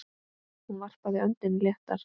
Hún varpaði öndinni léttar.